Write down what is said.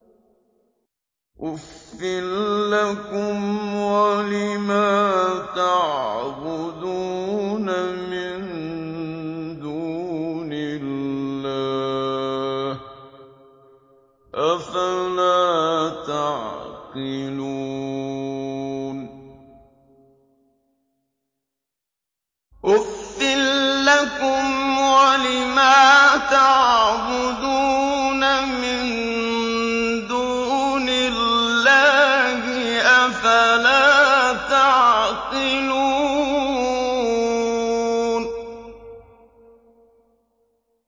أُفٍّ لَّكُمْ وَلِمَا تَعْبُدُونَ مِن دُونِ اللَّهِ ۖ أَفَلَا تَعْقِلُونَ